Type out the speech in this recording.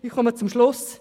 Ich komme zum Schluss.